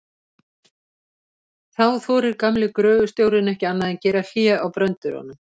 Þá þorir gamli gröfustjórinn ekki annað en að gera hlé á bröndurunum.